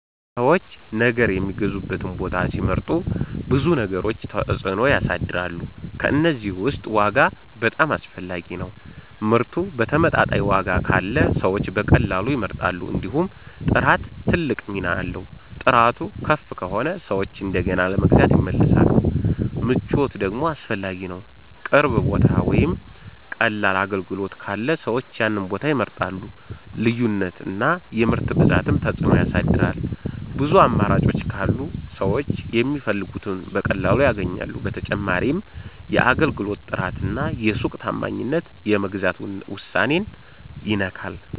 ሰዎች ነገር የሚገዙበትን ቦታ ሲመርጡ ብዙ ነገሮች ተጽዕኖ ያሳድራሉ። ከእነዚህ ውስጥ ዋጋ በጣም አስፈላጊ ነው፤ ምርቱ በተመጣጣኝ ዋጋ ካለ ሰዎች በቀላሉ ይመርጣሉ። እንዲሁም ጥራት ትልቅ ሚና አለው፤ ጥራቱ ከፍ ከሆነ ሰዎች እንደገና ለመግዛት ይመለሳሉ። ምቾት ደግሞ አስፈላጊ ነው፣ ቅርብ ቦታ ወይም ቀላል አገልግሎት ካለ ሰዎች ያንን ቦታ ይመርጣሉ። ልዩነት እና የምርት ብዛትም ተጽዕኖ ያሳድራል፤ ብዙ አማራጮች ካሉ ሰዎች የሚፈልጉትን በቀላሉ ያገኛሉ። በተጨማሪም የአገልግሎት ጥራት እና የሱቅ ታማኝነት የመግዛት ውሳኔን ይነካል።